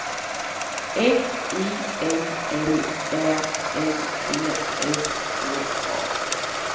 F I N L Ä N D S K A